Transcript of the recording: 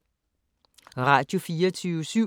Radio24syv